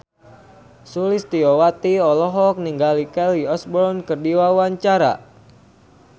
Sulistyowati olohok ningali Kelly Osbourne keur diwawancara